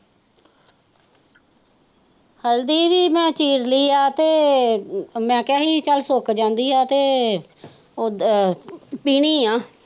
ਹਲਦੀ ਵੀ ਮੈਂ ਚੀਰ ਲਈ ਹੈ ਅਤੇ ਮੈਂ ਕਹਿਆ ਸੀ ਕੀ ਚੱਲ ਸੁੱਕ ਜਾਂਦੀ ਹੈ ਤੇ ਉਹ ਪੀਣੀ ਹੈ।